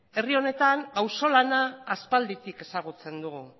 herri honetan auzo lana aspalditik ezagutzen dugu